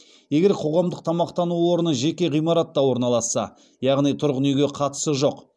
егер қоғамдық тамақтану орны жеке ғимаратта орналасса